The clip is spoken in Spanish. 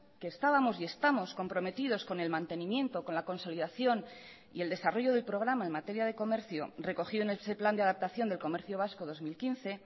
que estábamos y estamos comprometidos con el mantenimiento con la consolidación y el desarrollo del programa en materia de comercio recogido en ese plan de adaptación del comercio vasco dos mil quince